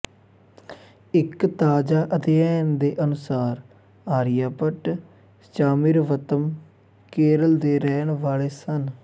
ਇੱਕ ਤਾਜ਼ਾ ਅਧਿਐਨ ਦੇ ਅਨੁਸਾਰ ਆਰੀਆਭੱਟ ਚਾੰਮ੍ਰਿਵੱਤਮ ਕੇਰਲ ਦੇ ਰਹਿਣ ਵਾਲੇ ਸਨ